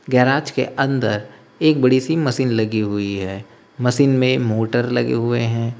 Garage के अंदर एक बड़ी सी मशीन लगी हुई है मशीन में मोटर लगे हुए हैं।